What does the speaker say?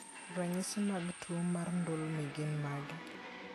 Ranyisi mag tuwo mar ndulme gin mage?